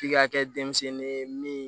F'i ka kɛ denmisɛnnin ye min